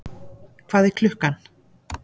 Hvað er klukkan?